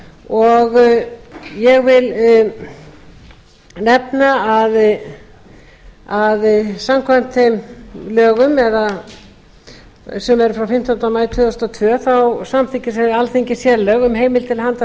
og ég vil nefna að samkvæmt þeim lögum sem eru frá fimmtánda maí tvö þúsund og tvö samþykkti alþingi sérlög um heimild til handa